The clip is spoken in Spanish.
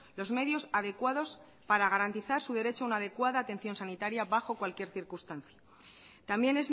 los medios adecuados para garantizar su derecho a una adecuada atención sanitaria bajo cualquier circunstancia también